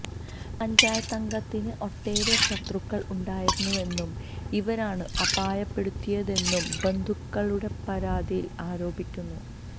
പഞ്ചായത്തംഗത്തിന് ഒട്ടേറെ ശത്രുക്കള് ഉണ്ടായിരുന്നുവെന്നും ഇവരാണ് അപായപ്പെടുത്തിയതെന്നും ബന്ധുക്കളുടെ പരാതിയില് ആരോപിക്കുന്നു